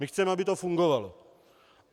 My chceme, aby to fungovalo.